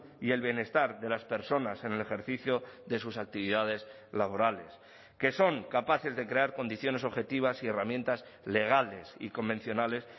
y el bienestar de las personas en el ejercicio de sus actividades laborales que son capaces de crear condiciones objetivas y herramientas legales y convencionales